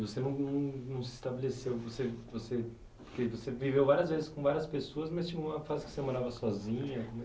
Você não não não não se estabeleceu... Você você o que, você viveu várias vezes com várias pessoas, mas tinha uma fase que você morava sozinha?